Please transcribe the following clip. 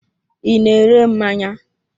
I na-ere mmanya.